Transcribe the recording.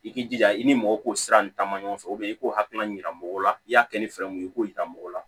I k'i jija i ni mɔgɔw k'o sira ninnu ta ma ɲɔgɔn fɛ i k'o hakilina yira mɔgɔw la i y'a kɛ ni fɛrɛ mun ye i k'o yira mɔgɔw la